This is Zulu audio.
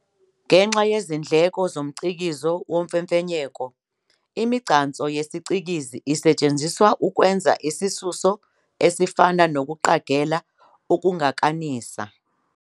Ngenxa yezindleko zomcikizo womfefenyeko, imigcanso yesicikizi isetshenziswa ukwenza isisuso esifana nokuqagela ukungakanisa.